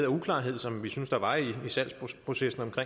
uklarhed som vi synes der var i salgsprocessen